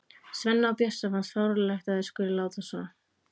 Svenna og Bjössa finnst fáránlegt að þær skuli láta svona.